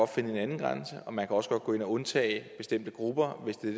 finde en anden grænse og man kan også godt gå ind og undtage bestemte grupper hvis det er